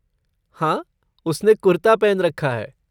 हाँ, उसने कुर्ता पहन रखा है।